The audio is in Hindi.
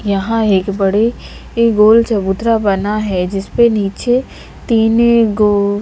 यहाँं एक बड़े गोल ऐ चबूतरा बना है जिस पे नीचे तीने-गो--